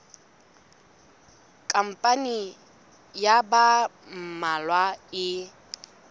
khampani ya ba mmalwa e